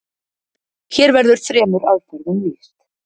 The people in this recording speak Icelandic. Hér verður þremur aðferðum lýst.